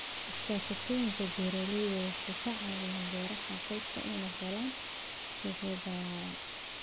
Iskaashatooyinka beeralaydu waxay ka caawiyaan beeraha qoyska inay helaan suuqyo ballaadhan.